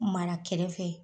Mara kɛrɛ fɛ